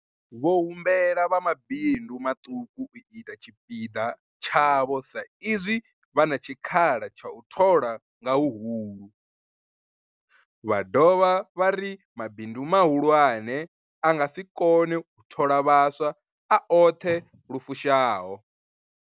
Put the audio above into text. Vho humbela vha mabindu maṱuku u ita tshipiḓa tshavho sa izwi vha na tshikhala tsha u thola nga huhulu, vha dovha vha ri mabindu mahulwane a nga si kone u thola vhaswa a oṱhe lu fushaho.